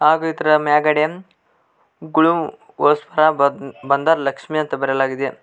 ಹಾಗೂ ಇದರ ಮ್ಯಾಗಡೆ ಗ್ಲೂ ಬಂದರ್ ಲಕ್ಷ್ಮಿ ಅಂತ ಬರೆಯಲಾಗಿದೆ.